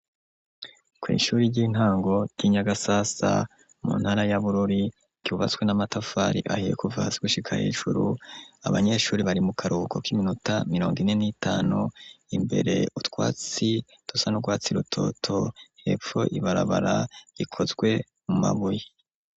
Ku ishure ry'intango ry'inyagasasa mu ntara yaburore ryubatswe n'amatafari ahiye kuva hasi gushika hejuru abanyeshure bari mu karuhuko kiminota mirongo ine nitanu imbere utwatsi d'usa nurwatsi rutoto hepfo ibarabara riikozwe mu mabuye.